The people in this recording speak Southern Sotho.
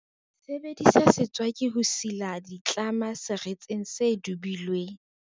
sebedisa setswaki ho sila ditlama seretseng se dubilweng